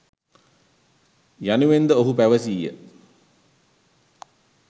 යනුවෙන්ද ඔහු පැවසීය